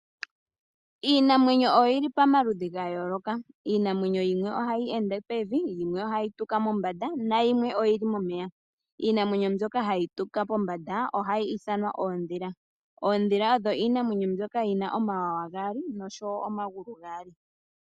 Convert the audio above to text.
Iinamwenyo oyili pamaludhi gayooloka. Iinamwenyo yimwe ohayi ende pevi, yimwe ohayi tuka mombanda nayimwe oyili momeya. Iinamwenyo mbyoka hayi tuka pombanda ohayi ithanwa oondhila. Oondhila iinamwenyo mbyoka yina omawanawa gaali oshowo omagulu gaali.